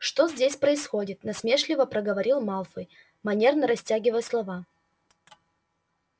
что здесь происходит насмешливо проговорил малфой манерно растягивая слова